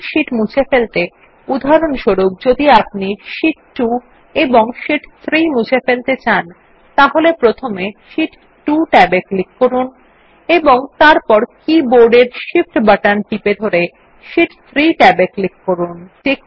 একাধিক শীট মুছে ফেলতে উদাহরণস্বরূপ যদি আপনি শীট 2 এবং শীট 3 মুছে ফেলতে চান তাহলে প্রথমে শীট 2 ট্যাবে ক্লিক করুন এবং তারপর কী বোর্ডের Shift বাটন টিপে ধরে শীট 3 ট্যাব এ ক্লিক করুন